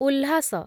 Ulhas